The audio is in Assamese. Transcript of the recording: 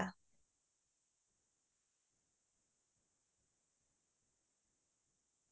তাতে আমি গৈছিলো solang valley বুলি এখন থাই আছে